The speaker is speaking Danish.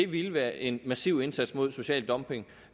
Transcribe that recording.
ville være en massiv indsats mod social dumping